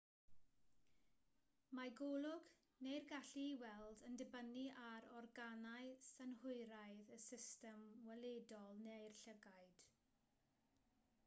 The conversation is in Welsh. mae golwg neu'r gallu i weld yn dibynnu ar organau synhwyraidd y system weledol neu'r llygaid